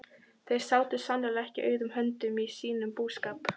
Þau sátu sannarlega ekki auðum höndum í sínum búskap.